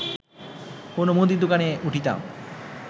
কোনো মুদীর দোকানে উঠিতাম